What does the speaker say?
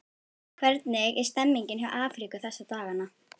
Hvernig er stemningin hjá Afríku þessa dagana?